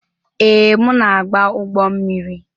Ee, m na-agba ụgbọ mmiri.